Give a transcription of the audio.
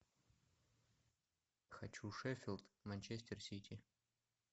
хочу шеффилд манчестер сити